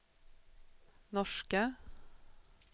norska